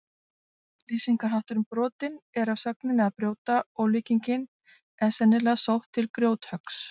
Lýsingarhátturinn brotinn er af sögninni að brjóta og líkingin er sennilega sótt til grjóthöggs.